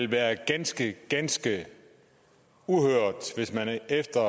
været ganske ganske uhørt hvis man efter